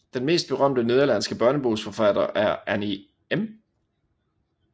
Den mest berømte nederlandske børnebogsforfatter er Annie M